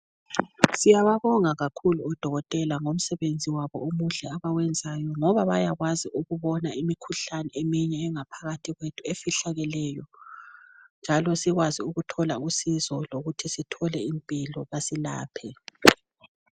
Siyababonga kakhulu odokotela ngomsebenzi wabo omuhle abawenzayo ngoba bayakwazi ukubona imikhuhlane eminye engaphakathi kwethu efihlakeleyo njalo sikwazi ukuthola usizo lokuthi sithole impilo basilaphe.